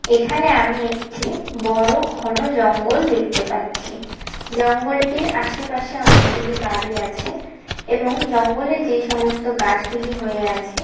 এখানে আমি একটি .বড়ো ঘন জঙ্গল দেখতে পাচ্ছি জঙ্গলটির আশেপাশে অনেকগুলি বাড়ি আছে এবং জঙ্গলে যে সমস্ত গাছ গুলি হয়ে আছে--